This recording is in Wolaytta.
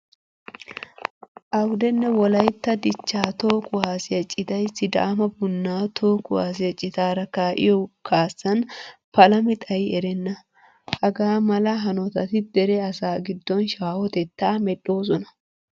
Awudenne wolaytta dichchaa toho kuwaasiya citay sidaama bunnnaa toho kuwaasiya citaara kaa'iyo kaassan palami xayi erenna. Hagaa mala hanotati dere asaa giddon shaahotettaa medhdhoosona.